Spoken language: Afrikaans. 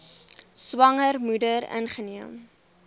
swanger moeder ingeneem